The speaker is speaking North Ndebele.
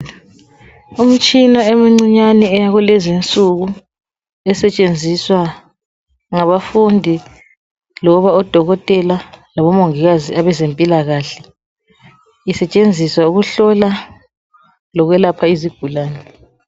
umtshina emncinyane yalezinsuku esetshenziswa ngabafundi loba odokotela labomongikazi abezempilakahle isetshenziswa ukuhlola lokwelapha izigulane